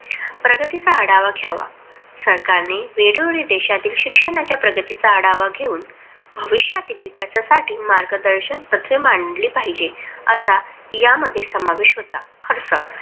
प्रगतीचा आढावा घ्यावा. सरकारने वेळोवेळी देशातील शिक्षणाच्या प्रगतीचा आढावा घेऊन भविष्यातील विकासासाठी मार्गदर्शक तत्त्वे मांडली पाहिजेत. असा या मध्ये समावेश होता.